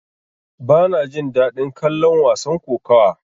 Bana jin daɗin kallon wasan kokawa.